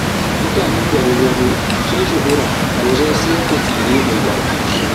Mutanen garin Rano sun yi shuhura wajen sayar da tsire mai daɗi